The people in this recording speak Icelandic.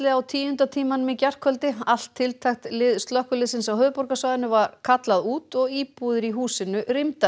á tíunda tímanum í gærkvöldi allt tiltækt lið slökkviliðsins á höfuðborgarsvæðinu var kallað út og íbúðir í húsinu